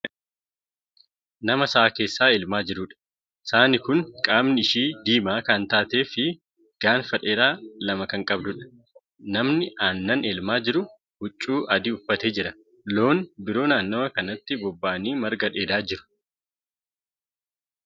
Nama sa'aa keessaa elmaa jiruudha. saani Kuni qaamni ishii diimaa Kan taateefi gaanfa dheeraa lama Kan qabduudha. namni aannan elmaa jiru huccuu adii uffatee jira. loon biroo naannawa kanatti bobba'anii marga dheedaa jiru